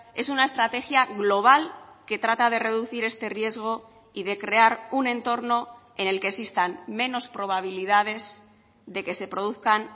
es una estrategia global que trata de reducir este riesgo y de crear un entorno en el que existan menos probabilidades de que se produzcan